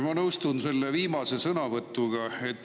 Ma nõustun selle viimase sõnavõtuga.